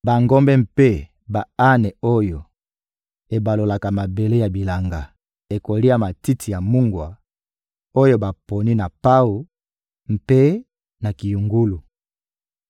Bangombe mpe ba-ane oyo ebalolaka mabele ya bilanga ekolia matiti ya mungwa oyo baponi na pawu mpe na kiyungulu.